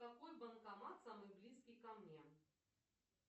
какой банкомат самый близкий ко мне